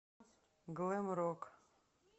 глэм рок